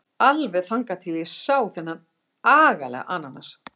Alveg þangað til ég sá þennan agalega ananas.